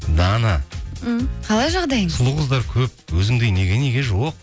дана м қалай жағдайыңыз сұлу қыздар көп өзіңдей неге неге жоқ